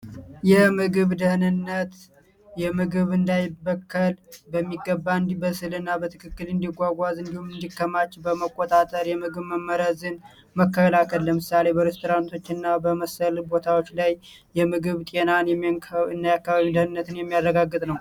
የምግብ ደህንነት በሚገባ በትክክል እንዲጓጓዝ እንዲሆን በመቆጣጠር የምግብ መመሪያ ዘዴ መከላከል ለምሳሌቶች እና በመሰልበት ቦታዎች ላይ የምግብ ጤና የሚያረጋግጥ ነው